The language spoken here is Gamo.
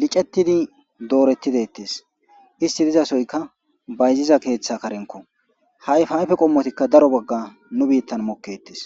dettees dorreti dettees isiti dizasoyka bayziza keththa karenkko ha ayfa ayfe qommotikka daro bagga nu biittani mooketees.